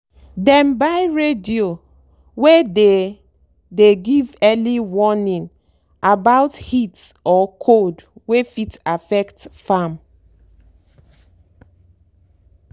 dem buy radio wey dey dey give early warning about heat or cold wey fit affect farm.